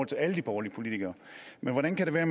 til alle de borgerlige politikere hvordan kan det være